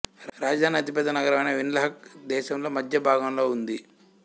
రాజధాని అతిపెద్ద నగరం అయిన విండ్హక్ దేశంలో మధ్యభాగంలో ఉంది